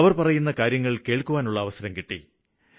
അവര് പറയുന്ന കാര്യങ്ങള് കേള്ക്കാനുള്ള അവസരം കിട്ടി